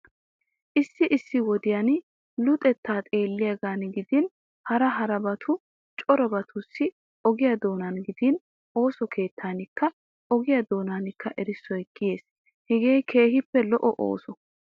Issi issi wodiyan luxettaa xeelliyagan gidin harra harabatu corabatussi ogiya doonan gidin ooso keettankka ogiya doonankka erissoy kiyees. Hegee keehippe lo'o ooso.